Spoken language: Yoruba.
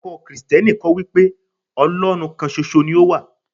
ẹkọ Kristẹni kọ́ wípé Olorun kan ṣoṣo ni o wa